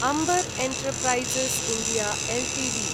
Amber enterprises India Ltd